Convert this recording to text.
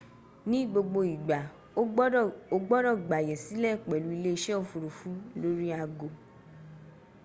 ní gbogbo igba o gbodo gbàyè sílẹ̀ pẹ̀lú ilé ise ofurufu lórí ago